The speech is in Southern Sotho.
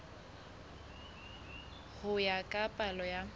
ho ya ka palo ya